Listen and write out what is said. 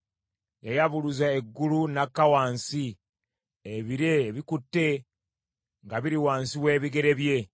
Yayabuluza eggulu n’akka wansi; ebire ebikutte nga biri wansi w’ebigere bye.